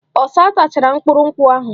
Ọsa tachara mkpụrụ nkwụ ahụ.